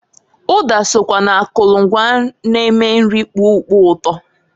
Uda sokwa na akulu ngwa n-eme nri kpoo ukpo uto.